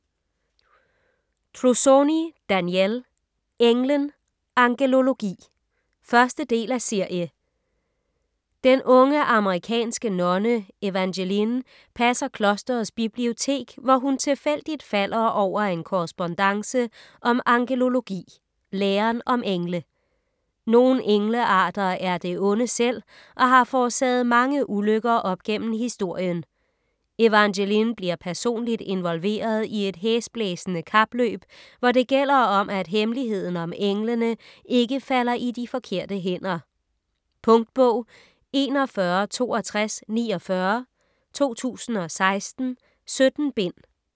Trussoni, Danielle: Englen - angelologi 1. del af serie. Den unge amerikansk nonne Evangeline passer klosterets bibliotek, hvor hun tilfældigt falder over en korrespondance om angelologi - læren om engle. Nogle englearter er det onde selv og har forårsaget mange ulykker op gennem historien. Evangeline bliver personligt involveret i et hæsblæsende kapløb, hvor det gælder om, at hemmeligheden om englene ikke falder i de forkerte hænder. . Punktbog 416249 2016. 17 bind.